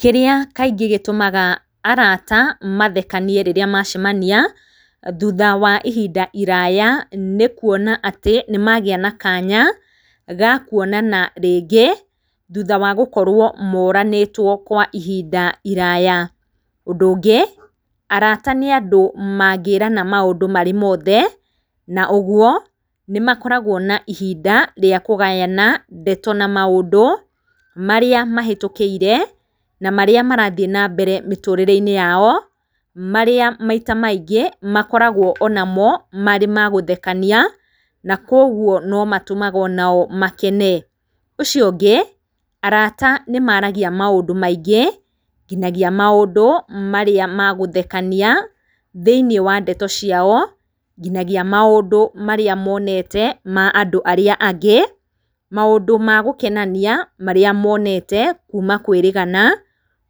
Kĩrĩa kaingĩ gĩtũmaga arata mathekanie rĩrĩa macemania, thutha wa ihinda iraya, nĩkuona atĩ nĩmagĩa na kanya, gakuonana rĩngĩ, thutha wa gũkorwo moranĩtwo kwa ihinda iraya. Ũndũ ũngĩ, arata nĩ andũ mangĩrana maũndũ mothe, na ũguo, nĩmakoragwo na ihinda rĩa kũgayana ndeto na maũndũ marĩa mahĩtũkĩire na marĩa marathiĩ nambere mĩtũrĩre-inĩ yao, marĩa maita maingĩ makoragwo onamo marĩ magũthekania, na kwa ũguo nomatũmaga onao makene. Ũcio ũngĩ, arata nĩmaragia maũndũ maingĩ, nginyagia maũndũ marĩa magũthekania thĩinĩ wa ndeto ciao, nginyagia maũndũ marĩa monete ma andũ arĩa angĩ, nginyagia maũndũ magũkenania marĩa monete kuma kwĩrĩgana,